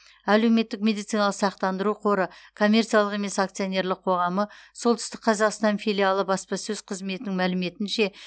әлеуметтік медициналық сақтандыру қоры коммерциялық емес акционерлік қоғамы солтүстік қазақстан филиалы баспасөз қызметінің мәліметінше